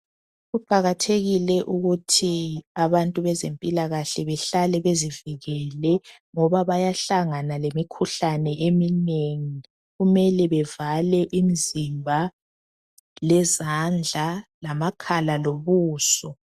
Kuqakathekile ukuthi abantu bezempilakahle behlale bezivikele ngoba bayahlangana lemikhuhlane eminengi kumele bevale imizimba, lezandla, lamakhala, lobuso.